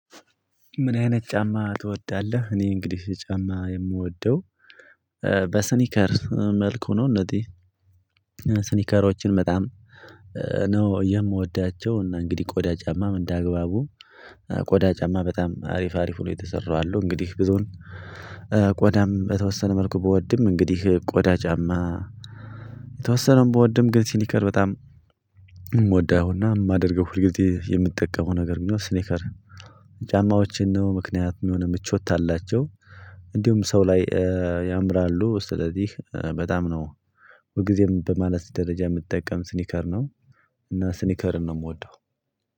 ምን አይነት ጫማ ትወዳለህ? እኔ እንግዲህ ጫማ የምወደው በስኒከር መልክ ሆኖ እነዚህ ስኒከሮችን በጣም ነው የምወዳቸው። እና እንግዲህ ቆዳ ጫማም እንደ አግባቡ ቆዳ ጫማ በጣም አሪፍ አሪፍ ሆነው የተሰሩ አሉ። እንግዲህ ብዙን ቆዳም በተወሰነ መልኩ ብወድም እንግዲህ ቆዳ ጫማ የተወሰነውን ብወድም ግን ሲኒከር በጣም የምወደውና የማደርገው ሁልጊዜ የምጠቀመው ነገር ቢኖር ስኒከር ጫማዎችን ነው። ምክንያት የሆነ ምቾት አላቸው እንዲሁም ሰው ላይ ያምራሉ። ስለዚህ በጣም ነው ሁልጊዜም በማለት ደረጃ ምጠቀም ስኒከር ነው። እና ስኒከርን ነው ምወደው።